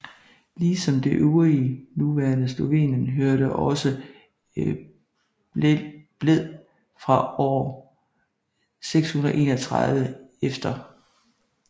Ligesom det øvrige nuværende Slovenien hørte også Bled fra år 631 e